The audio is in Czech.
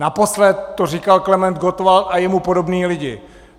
Naposledy to říkal Klement Gottwald a jemu podobní lidé.